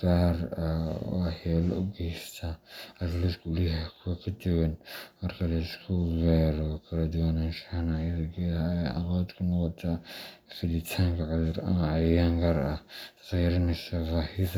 gaar ah oo waxyeello u geysta, halka lawska uu leeyahay kuwo ka duwan. Marka la isku beero, kala duwanaanshaha noocyada geedaha ayaa caqabad ku noqota fiditaanka cudur ama cayayaan gaar ah, taas oo yareyneysa baahida.